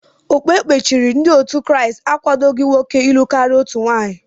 Okpukperechi ndị otu Kraịst akwadoghi nwoke ilụ karịa otu nwaanyị.